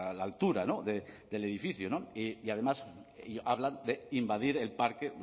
la altura del edificio y además hablan de invadir el parque